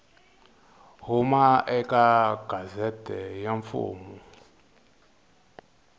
huma eka gazette ya mfumo